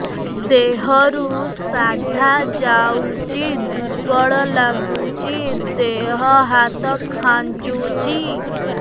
ଦେହରୁ ସାଧା ଯାଉଚି ଦୁର୍ବଳ ଲାଗୁଚି ଦେହ ହାତ ଖାନ୍ଚୁଚି